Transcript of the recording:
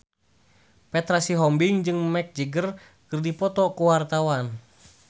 Petra Sihombing jeung Mick Jagger keur dipoto ku wartawan